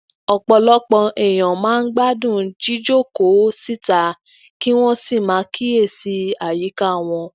òpọlọpọ èèyàn máa ń gbádùn jijókòó síta kí wọn sì máa kiyesi ayika wọn